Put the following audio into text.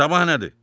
Sabah nədir?